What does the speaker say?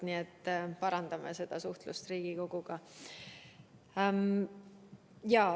Nii et me parandame suhtlust Riigikoguga.